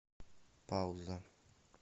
пауза